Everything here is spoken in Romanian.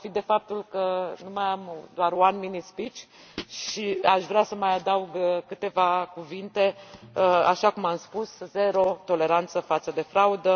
Profit de faptul că mai am doar un one minute speech și aș vrea să mai adaug câteva cuvinte. Așa cum am spus, zero toleranță față de fraudă.